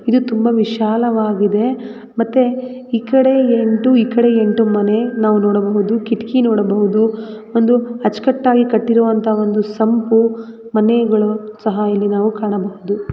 ಇದು ತುಂಬಾ ವಿಶಾಲವಾಗಿದೆ ಮತ್ತೆ ಈ ಕಡೆ ಎಂಟು ಈ ಕಡೆ ಎಂಟು ಮನೆ ನಾವು ನೋಡಬಹುದು ಕಿಟಕಿ ನೋಡಬಹುದು ಒಂದು ಅಚ್ಚುಕಟ್ಟಾಗಿ ಕಟ್ಟಿರುವಂತಹ ಒಂದು ಸಂಪು ಮನೆಗಳು ಸಹ ಇಲ್ಲಿ ನಾವು ಕಾಣಬಹುದು.